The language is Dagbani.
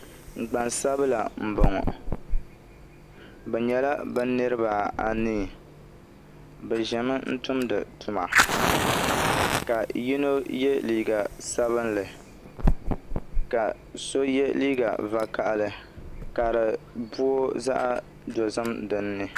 Gbansabila n boŋo bi nyɛla bi niraba anii bi ʒɛmi n tumdi tuma ka yino yɛ liiga sabinli ka so yɛ liiga vakaɣali ka di booi zaɣ dozim dinni